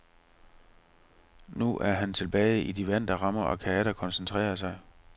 Nu er han tilbage i de vante rammer og kan atter koncentrere sig.